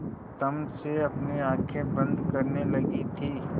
तम से अपनी आँखें बंद करने लगी थी